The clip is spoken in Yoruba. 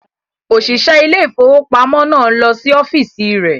Òṣìṣẹ́ ilé ìfowópamọ́ náà ń lọ sí ọ́fíìsì rẹ̀.